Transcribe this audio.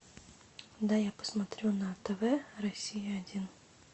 дай я посмотрю на тв россия один